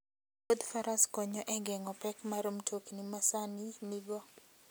Wuodh faras konyo e geng'o pek ma mtokni masani nigo.